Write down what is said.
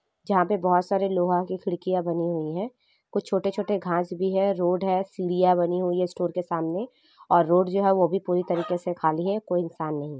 यहाँ पे बहुत सारे लोहा की खिड़कियाँ बनी हुई है कुछ छोटे छोटे घास भी हैं रोड हैं सिडिया बनी हुई है स्टोर के सामने और जो रोड हैं वो पूरी तरह के से खाली हैं कोई इंसान नही है।